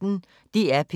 DR P1